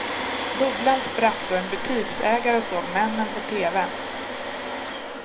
Bubblan sprack då en butiksägare såg männen på tv.